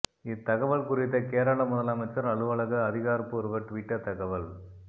இத்தகவல் குறித்த கேரள முதலமைச்சர் அலுவலக அதிகாரப் பூர்வ ட்விட்டர் தகவல்